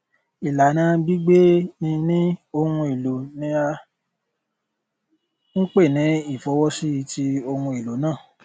ìlànà gbígbée níni ohun èlò ni à ń pè ní ìfọwọsíti ohun èlò náà